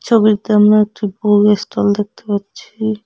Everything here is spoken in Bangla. ছবিতে আমরা একটি বইয়ের স্টল দেখতে পাচ্ছি।